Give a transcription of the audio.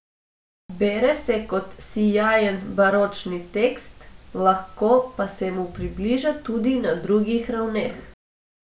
Bere se kot sijajen baročni tekst, lahko pa se mu približa tudi na drugih ravneh.